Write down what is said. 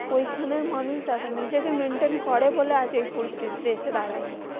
ওইখানে মানুষ দেখেন নিজেকে maintain করে বলে আজ এই পরিস্থিতে এসে দাঁড়ায়নি।